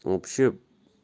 вообще